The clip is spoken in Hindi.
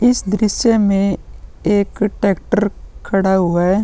इस दृश्य में एक ट्रेक्टर खड़ा हुआ है।